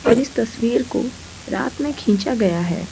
और इस तस्वीर को रात में खींचा गया है।